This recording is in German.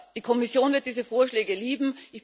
Die Kommission wird diese Vorschläge lieben.